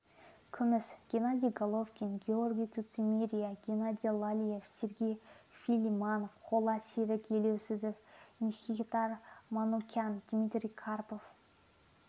күміс геннадий головкин георгий цурцумия геннадий лалиев сергей филимонов қола серік елеуов мкхитар манукян дмитрий карпов